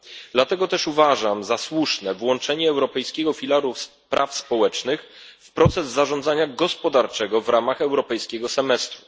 Dlatego też uważam za słuszne włączenie europejskiego filaru praw socjalnych w proces zarządzania gospodarczego w ramach europejskiego semestru.